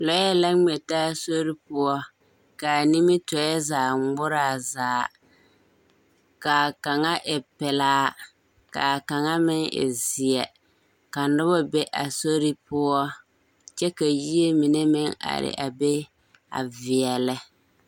Lɔɛ la ŋmɛ taa sori poɔ kaa nimitɔɛ ŋmɛ zaa ŋmoraa zaa, kaa kaŋa e pelaa kaa kaŋa meŋ e zeɛ. Ka nobɔ be a sori poɔ, kyɛ ka yie mine meŋ are a be a veɛlɛ.